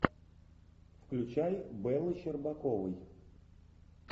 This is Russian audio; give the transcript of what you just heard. включай бэлы щербаковой